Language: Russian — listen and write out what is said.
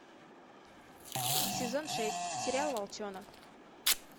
сезон шесть сериал волчонок